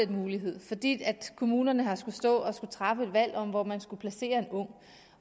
den mulighed fordi kommunerne har skullet stå og træffe et valg om hvor man skulle placere en ung